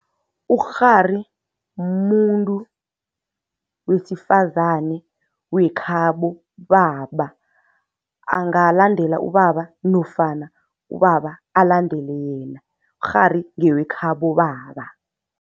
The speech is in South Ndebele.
Ukghari muntu wesifazani wekhabo baba, angalandela ubaba nofana ubaba alandele yena. Ukghari ngewekhabo baba.